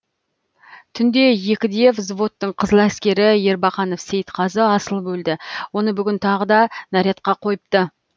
түнде екіде взводтың қызыләскері ербақанов сейітқазы асылып өлді оны бүгін тағы да нарядқа қойыпты